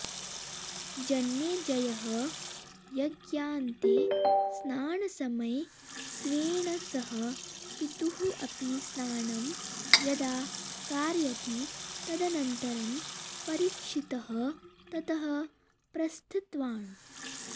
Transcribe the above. जनमेजयः यज्ञान्ते स्नानसमये स्वेन सह पितुः अपि स्नानं यदा कारयति तदनन्तरं परीक्षितः ततः प्रस्थितवान्